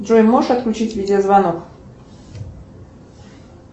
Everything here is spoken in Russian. джой можешь отключить видеозвонок